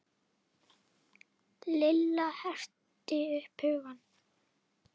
Lilla herti upp hugann.